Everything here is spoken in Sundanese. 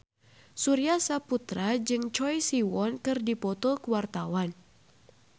Surya Saputra jeung Choi Siwon keur dipoto ku wartawan